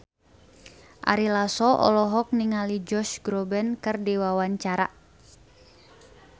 Ari Lasso olohok ningali Josh Groban keur diwawancara